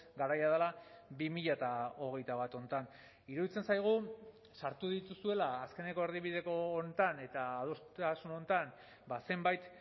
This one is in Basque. garaia dela bi mila hogeita bat honetan iruditzen zaigu sartu dituzuela azkeneko erdibideko honetan eta adostasun honetan zenbait